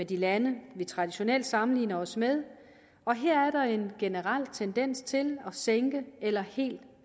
de lande vi traditionelt sammenligner os med og her er der en generel tendens til at sænke eller helt at